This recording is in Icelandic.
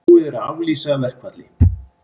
Búið er að aflýsa verkfalli